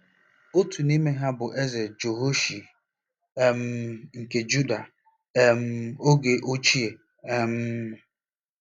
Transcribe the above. Otu n’ime ha bụ Eze Jehoashi um nke Juda um oge ochie um.